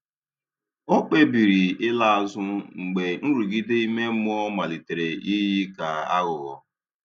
Ọ̀ kpebìrì ị̀la azụ mgbe nrụgide ime mmụọ malitere iyi ka aghụghọ.